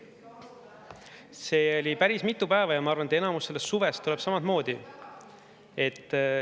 See oli päris mitu päeva ja ma arvan, et enamus sellest suvest on samamoodi.